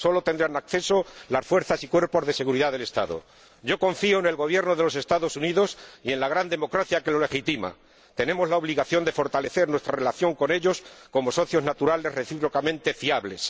Sólo tendrán acceso las fuerzas y cuerpos de seguridad del Estado. Confío en el Gobierno de los Estados Unidos y en la gran democracia que lo legitima. Tenemos la obligación de fortalecer nuestra relación con ellos como socios naturales recíprocamente fiables.